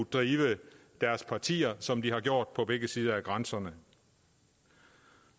drive deres partier som de har gjort på begge sider af grænsen